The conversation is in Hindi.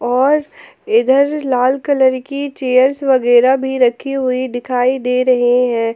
और इधर लाल कलर की चेयर्स वगैरा भी रखी हुई दिखाई दे रही हैं।